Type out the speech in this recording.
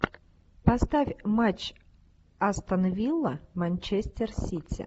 поставь матч астон вилла манчестер сити